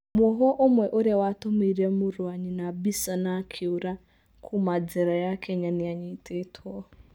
Mũovwo ũmwe ũrĩa watũmĩire mũrũ wa nyina mbica na akĩũra kuma njera ya Kenya nĩ anyitĩtwo